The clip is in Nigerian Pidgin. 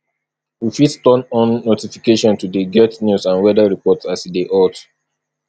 we fit turn on notification to dey get news and weather report as e dey hot